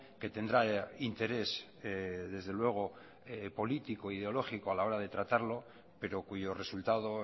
que tendrá interés desde luego político ideológico a la hora de tratarlo pero cuyo resultado